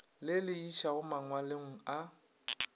le le išago mangwalong a